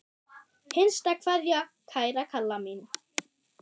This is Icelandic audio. HINSTA KVEÐJA Kæra Kalla mín.